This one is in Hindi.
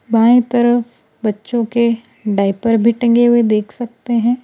बाएं तरफ बच्चों के डायपर भी टंगे हुए देख सकते हैं।